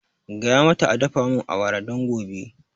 Gaya mata a dafa mun awara don gobe